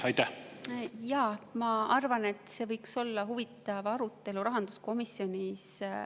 Jaa, ma arvan, et see võiks olla huvitav arutelu ka rahanduskomisjonis.